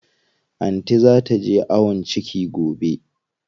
Anty zaa taje ayon ciki gobe.